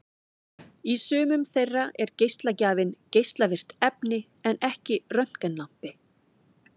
Í sumum þeirra er geislagjafinn geislavirkt efni en ekki röntgenlampi.